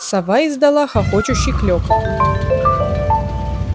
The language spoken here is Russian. сова издала хохочущий клёкот